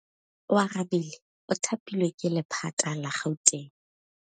Oarabile o thapilwe ke lephata la Gauteng.